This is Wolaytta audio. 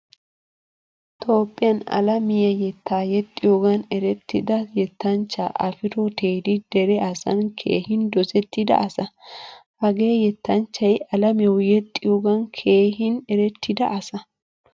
Toophphiyan alamiyaa yeta yexiyogan erettida yettanchcha afro teddy dere asan keehin dosettida asa. Hagee yettanchchay alamiyawu yexiyogan keehin erettida asa.